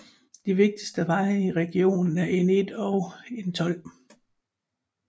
De vigtigste veje i regionen er N1 og N12